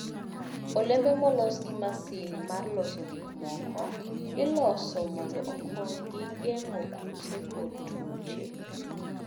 Olembe molos gi masin mar loso gik moko, iloso mondo okonygi geng'o kute kod tuoche.